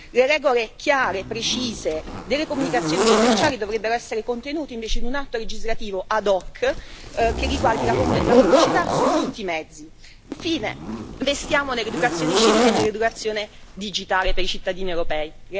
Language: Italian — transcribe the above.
Le regole chiare e precise delle comunicazioni commerciali dovrebbero essere contenute invece in un atto legislativo ad hoc, che riguardi la pubblicità su tutti i mezzi. Infine, investiamo nell'educazione civica e nell'educazione digitale per i cittadini europei.